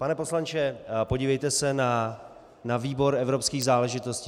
Pane poslanče, podívejte se na výbor evropských záležitostí.